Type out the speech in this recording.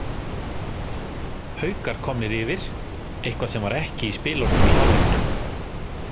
Haukar komnir yfir, eitthvað sem var ekki í spilunum í hálfleik.